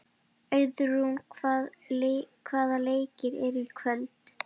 Auðrún, hvaða leikir eru í kvöld?